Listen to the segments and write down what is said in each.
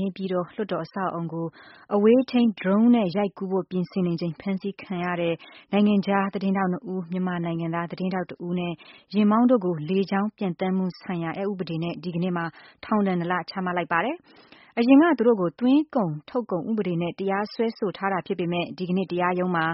နေပြည်တော်လွှတ်တော်အဆောက်အအုံကို အဝေးထိန်း ဒရုန်းနဲ့ရိုက်ကူးဖို့ပြင်ဆင်နေချိန် ဖမ်းဆီးခံထားရတဲ့ နိုင်ငံခြားသတင်းထောက် ၂ ဦး မြန်မာနိုင်ငံသား သတင်းထောက်တစ်ဦးနဲ့ ယာဉ်မောင်းတို့ကို လေကြောင်း ပျံသန်းမှုဆိုင်ရာ အက်ဥပဒေနဲ့ ဒီကနေ့မှာ ထောင်ဒဏ် ၂ လ ချမှတ်လိုက်ပါတယ်။ အရင်ကသူတို့ကို သွင်းကုန် ထုတ်ကုန်ဥပဒေနဲ့တရားစွဲဆိုထားတာဖြစ်ပေမဲ့ ဒီကနေ့ တရားရုံးမှာ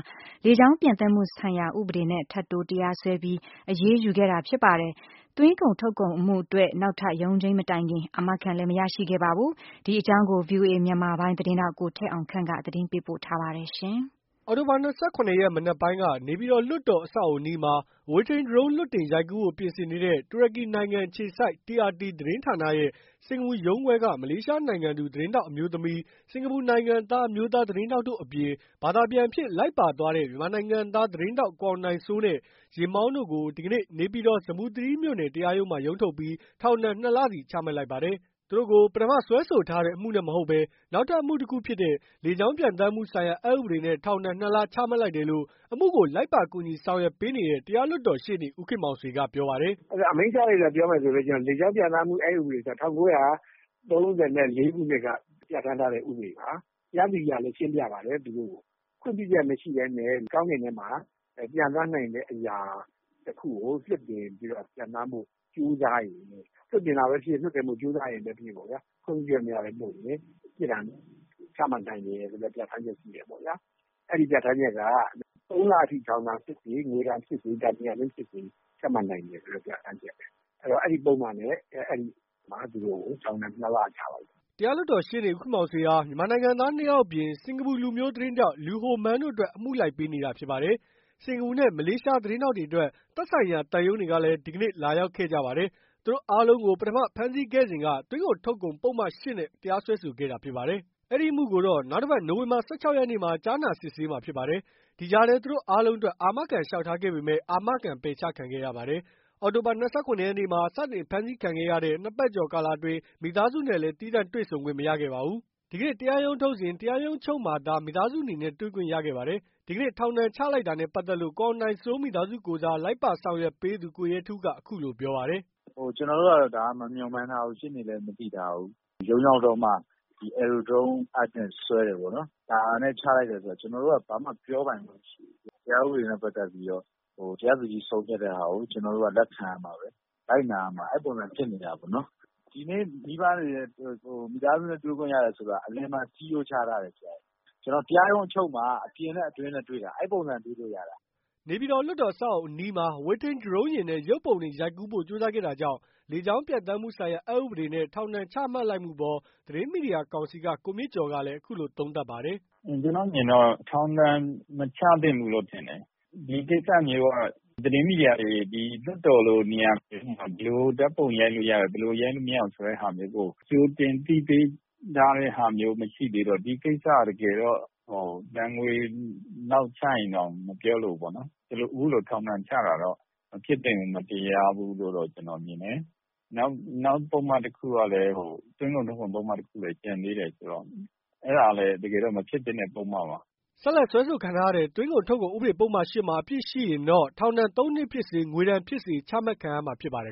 လေကြောင်းပျံသန်းမှုဆိုင်ရာ ဥပေဒနဲ့ ထပ်တိုးတရားစွဲပြီး အရေးယူခဲ့တာဖြစ်ပါတယ်။ သွင်းကုန်ထုတ်ကုန်အမှုအတွက် နောက်ထပ်ရုံးချိန်းမတိုင်ခင် အာမခံလဲ မရရှိခဲ့ပါဘူး။ ဒီအကြောင်းကို ဗွီအိုအေ မြန်မာပိုင်း သတင်းထောက် ကိုထက်အောင်ခန့်က တင်ပြပေးပါမယ်။ အောက်တိုဘာ ၂၇ ရက် မနက်ပိုင်းက နေပြည်တော် လွှတ်တော်အဆောက်အအုံအနီးမှာ အဝေးထိန်းဒရုန်း လွှတ်တင်ရိုက်ကူးဖို့ပြင်ဆင်နေတဲ့ တူရကီနိုင်ငံအခြေစိုက် TRT သတင်းဌာနရဲ့ စင်္ကာပူရုံးခွဲက မလေးရှားနိုင်ငံသူ သတင်းထောက်အမျိုးသမီး ၊ စင်ကာပူနိုင်ငံသား အမျိုးသားသတင်းထောက်တို့အပြင် ဘာသာပြန်အဖြစ် လိုက်ပါသွားတဲ့ မြန်မာနိုင်ငံသား သတင်းထောက် ကိုအောင်နိုင်စိုးနဲ့ ယာဉ်မောင်းတို့ကို ဒီကနေ့ နေပြည်တော် ဇမ္ဗူသီရိမြို့နယ် တရားရုံးမှာ ရုံးထုတ်ပြီး ထောင်ဒဏ် ၂ လစီချမှတ်လိုက်ပါတယ်။ သူတို့ကို ပထမစွဲထားတဲ့ အမှုနဲ့မဟုတ်ဘဲ နောက်ထပ် အမှုတခုဖြစ်တဲ့ လေကြောင်းပျံသန်းမှု ဆိုင်ရာ အက်ဥပဒေနဲ့ ထောင်ဒဏ် ၂ လ ချမှတ်လိုက်တယ်လို့ အမှုကို လိုက်ပါ ကူညီဆောင်ရွက်ပေးနေတဲ့ တရားလွှတ်တော်ရှေ့နေ ဦးခင်မောင်ဆွေကပြောပါတယ်။ " အဲ့တာအမိန့်ချလိုက်တာပြောမယ်ဆိုလို့ရှိရင်တော့ လေကြောင်းပျံသန်းမှု အက်ဥပဒေ ဆိုတာ ၁၉၃၄ခုနှစ်က ပြဌာန်းထားတဲ့ဥပဒေပါ အဲ့ဒီ့ဥပဒေရဲ့ပြဌာန်းချက်အရဆိုရင် တရားသူကြီးကလည်း သူတို့ကိုရှင်းပြပါတယ်။ ခွင့်ပြုချက်မရှိပဲနဲ့ လေကြောင်းနဲ့ကောင်းကင်ထဲမှာ ပျံသန်းနိုင်တဲ့အရာ တခုကို လွှတ်တင်ပြီးတော့ ပျံသန်းဖို့ ကြိုးစားရင် လွှတ်တင်တာပဲဖြစ်ဖြစ် လွှတ်တင်လို့ ကြိုးစားရင်ပဲဖြစ်ဖြစ် ခွင့်ပြုချက်မရပဲ လုပ်ရင်ပေါ့ဗျာ ပြစ်ဒဏ်ချမှတ်နိုင်တယ်ဆိုတဲ့ ပြဌာန်းချက်ရှိတယ်ပေါ့ဗျာ။ အဲ့ဒီ့ပြဌာန်းချက်က သုံးလအထိ ထောင်ဒဏ်ဖြစ်စေ ငွေဒဏ်ဖြစ်စေ ဒဏ်နှစ်ရပ်စလုံးဖြစ်စေ ချမှတ်နိုင်တယ်ဆိုတဲ့ပြဌာန်းချက်ပဲ။ အဲ့ဒီ့တော့ အဲ့ဒီ့ပုဒ်မနဲ့ သူတို့ကို ထောင်ဒဏ် နှစ်လချလိုက်တယ်။" တရားလွှတ်တော်ရှေ့နေ ဦးခင်မောင်ဆွေဟာ မြန်မာနိုင်ငံသား ၂ ယောက်အပြင် စင်္ကာပူလူမျိုးသတင်းထောက် Lau Hon Meng တို့အတွက် အမှုလိုက်ပေးနေ တာဖြစ်ပါတယ်။ စင်္ကာပူနဲ့ မလေးရှား သတင်းထောက်တွေအတွက် သက်ဆိုင်ရာ သံရုံးတွေကလည်း ဒီကနေ့ လာရောက်ခဲ့ကြပါတယ်။ သူတို့အားလုံးကို ပထမဖမ်းဆီးခဲ့စဉ်က သွင်းကုန် ထုတ်ကုန် ပုဒ်မ ၈ နဲ့တရားစွဲခဲ့တာဖြစ်ပါတယ်။ အဲဒီအမှုကိုတော့ နောက်တပါတ် နိုဝင်ဘာ ၁၆ ရက်နေ့မှာ ကြားနာစစ်ဆေးမှာဖြစ်ပါတယ်။ ဒီကြားထဲသူတို့အားလုံးအတွက် အာမခံလေ ျှာက်ထားခဲ့ပေမဲ့ အာမခံပယ်ချခံခဲ့ရပါတယ်။ အောက်တိုဘာ ၂၇ ရက်နေ့မှာ စတင်ဖမ်းဆီးခံခဲ့ရတဲ့ ၂ ပတ်ကျော်ကာလအတွင်း မိသားစုနဲ့လည်း သီးသန့်တွေ့ဆုံခွင့် မရခဲ့ပါဘူး။ ဒီကနေ့ တရားရုံးထုတ်စဉ် တရားရုံးအချုပ်မှာသာ မိသားစု အနေနဲ့တေ့ွခွင့်ရခဲ့ပါတယ်။ ဒီကနေ့ ထောင်ဒဏ်ချလိုက်တာနဲ့ပါတ်သက်လို့ ကိုအောင်နိုင်စိုးမိသားစုကိုယ်စား လိုက်ပါဆောင်ရွက်ပေးသူ ကိုရဲထူးက အခုလိုပြောပါတယ်။ " ကျနော်တို့က ဒါကို မမျှော်မှန်းထားဘူး ရှေ့နေလည်း မသိထားဘူး။ ရုံးရောက်တော့မှာ လေကြောင်းပျံသန်းမှု အက်နဲ့ စွဲတယ်ပေါ့နော်။ စွဲတယ် ဒါနဲ့ချလိုက်တယ်ဆိုတော့ ကျနော်တို့က ဘာမှပြောပိုင်ခွင့်မရှိဘူး တရားဥပဒေနဲ့ပတ်သက်ပြီးတော့ တရားသူကြီး ဆုံးဖြတ်တဲ့ဟာကို ကျနော်တို့က လက်ခံရမှာပဲ လိုက်နာရမှာပဲ အဲ့လိုပုံစံဖြစ်နေတာပေါနော်။ ဒီနေ့ မိဘတွေ မိသားစုတွေနဲ့တွေ့ခွင့်ရတယ်ဆိုတာ အလယ်မှာ စည်းရိုးခြားထားတယ် ကျနော်တို့ တရားရုံးအချုပ်မှာ အပြင်နဲ့ အတွင်းနဲ့တွေ့တာ အဲ့ပုံစံ တွေ့လို့ရတာ။" နေပြည်တော် လွှတ်တော်အဆောက်အဦးနားမှာ အဝေးထိန်း ဒရုန်းယာဉ်နဲ့ ရုပ်ပုံတွေရိုက်ကူးဖို့ ကြိုးစားခဲ့တာကြောင့် လေကြောင်းပျံသန်းမှုဆိုင်ရာ အက်ဥပဒေနဲ့ ထောင်ဒဏ် ချမှတ်လိုက်မှုအပေါ် သတင်းမီဒီယာ ကောင်စီက ကိုမြင့်ကျော်ကလည်း အခုလိုသုံးသပ်ပါတယ်။ " ကျနော်အမြင်တော့ ထောင်ဒဏ်မချသင့်ဘူးလို့ထင်တယ်။ ဒီကိစ္စမျိုးက သတင်းမီဒီယာတွေ လွှတ်တော်လို နေရာမျိုးမှာ ဘယ်လိုဓာတ်ပုံကို ရိုက်လို့ရတယ် ဘယ်လိုဓာတ်ပုံကို ရိုက်လို့မရဘူး ဆိုတဲ့ဟာမျိုးကို ကြိုတင်အသိပေး ထားတဲ့ဟာမျိုးမ ရှိသေးတော့ ဒီကိစ္စ က တကယ်တော့ ဒဏ်ငွေလောက်ချရင်တောင် မပြောလိုဘူးပေါ့နော် အခုလို ထောင်ဒဏ်ချတာတော့ မဖြစ်သင့်ဘူး မတရားဘူးလို့ ကျနော်မြင်တယ်။ နောက်သွင်းကုန်ထုတ်ကုန် ပုဒ်မတခုလည်းကျန်သေးတယ်ဆိုတော့ အဲ့တာလည်း တကယ်တော့ မဖြစ်သင့်တဲ့ပုဒ်မပါ။" ဆက်လက်စွဲဆိုခံထားရတဲ့ သွင်းကုန်ထုတ်ကုန်ဥဒေပုဒ်မ ၈ မှာ အပြစ်ရှိရင်တော့ ထောင်ဒဏ် ၃ နှစ်ဖြစ်စေ ငွေဒဏ်ဖြစ်စေ ချမှတ်ခံရမှာဖြစ်ပါတယ်